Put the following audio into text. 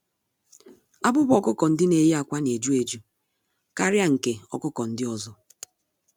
Abụba ọkụkọ-ndị-neyi-ákwà n'eju-eju karịa nke ọkụkọ ndị ọzọ.